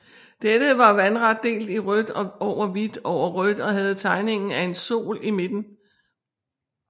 Dette var vandret delt i rødt over hvidt over rødt og havde tegningen af en sol i midten